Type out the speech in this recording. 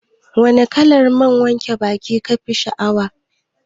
Wane kalar man wanke baki kafi sha'awa?